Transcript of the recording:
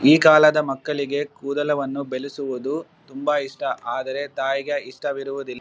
ಈ ಕಾಲದ ಮಕ್ಕಳಿಗೆ ಕೂದಲವನ್ನು ಬೆಳೆಸುವುದು ತುಂಬಾ ಇಷ್ಟಾ ಆದರೆ ತಾಯಿಗೆ ಇಷ್ಟಾ ಇರುವುದಿಲ್ --